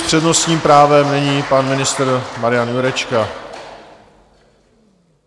S přednostním právem nyní pan ministr Marian Jurečka.